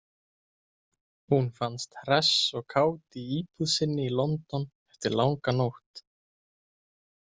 Hún fannst hress og kát í íbúð sinni í London eftir langa nótt.